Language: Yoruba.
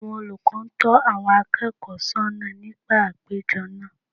Àwọn olùkọ́ ń tọ́ àwọn akẹ́kọ̀ọ́ sọ́nà nígbà àpéjọ náà